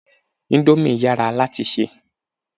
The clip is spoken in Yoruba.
Íńdómì yàrá láti ṣé.